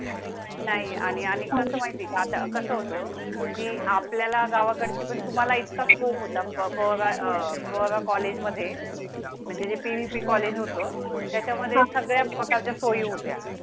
नाही आणि आणि म्हणजे आता कसं होतं की आपल्या ला गावाकड ची पण तुम्हाला इतका scope होता. प्रवारा College मध्ये म्हणजे पी व्ही पी College होतो. त्याच्या मध्ये सगळ्या प्रकारच्या सोयी होत्या